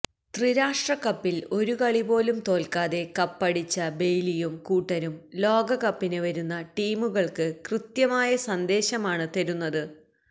ത്രിരാഷ്ട്ര കപ്പില് ഒരു കളി പോലും തോല്ക്കാതെ കപ്പടിച്ച ബെയ്ലിയും കൂട്ടരും ലോകകപ്പിന് വരുന്ന ടീമുകള്ക്ക് കൃത്യമായ സന്ദേശമാണ് തരുന്നത്